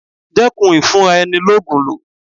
Dẹ́kun ìfúnra ẹni ló Ògùn lò.